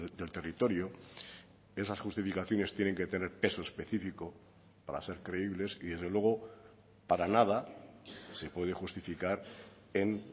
del territorio esas justificaciones tienen que tener peso específico para ser creíbles y desde luego para nada se puede justificar en